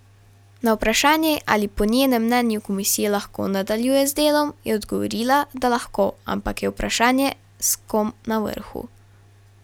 Na vprašanje, ali po njenem mnenju komisija lahko nadaljuje z delom, je odgovorila, da lahko, ampak je vprašanje, s kom na vrhu.